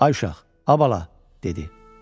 Ay uşaq, a bala, dedi.